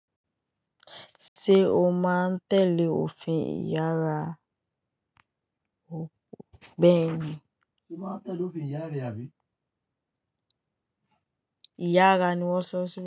Ṣé o máa ń tẹ́lẹ̀ òfin ìyára Bẹ́ẹ̀ ni. Ṣé máa ń tẹ́lẹ̀ òfin ìyá rẹ àbí? Ìyára ni wọ́n sọ sí i.